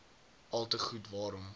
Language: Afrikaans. alte goed waarom